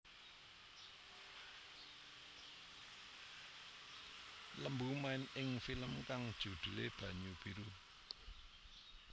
Lembu main ing film kang judhulé Banyu Biru